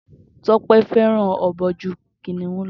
Toke fẹràn ọbọ ju kìnìún lọ